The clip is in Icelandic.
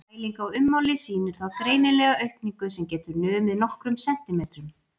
Mæling á ummáli sýnir þá greinilega aukningu sem getur numið nokkrum sentímetrum.